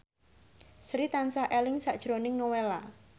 Sri tansah eling sakjroning Nowela